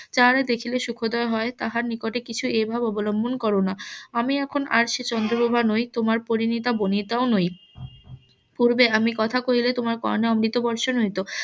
যাহাদের দেখিলে . তাহাদের নিকটে কিছু এভাবে অবলম্বন করো না আমি এখন আর সে চন্দ্রপ্রভা নই তোমার পরিণীতা বনিতাও নই পূর্বে আমি কথা কইলে তোমার কর্নে অমৃত বর্ষণ হইতো